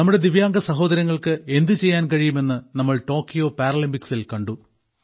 നമ്മുടെ ദിവ്യാംഗ സഹോദരങ്ങൾക്ക് എന്തുചെയ്യാൻ കഴിയും എന്ന് നമ്മൾ ടോക്കിയോ പാരലിമ്പിക്സിൽ കണ്ടു